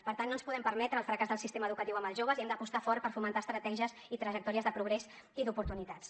per tant no ens podem permetre el fracàs del sistema educatiu amb els joves i hem d’apostar fort per fomentar estratègies i trajectòries de progrés i d’oportunitats